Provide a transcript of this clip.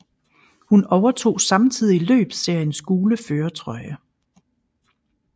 Hun overtog samtidig løbsseriens gule førertrøje